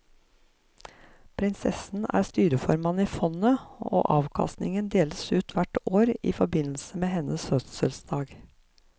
Prinsessen er styreformann i fondet, og avkastningen deles ut hvert år i forbindelse med hennes fødselsdag.